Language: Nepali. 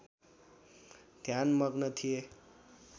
ध्यानमग्न थिए